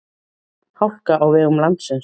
Hálka á vegum landsins